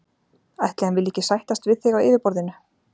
Ætli hann vilji ekki sættast við þig á yfirborðinu.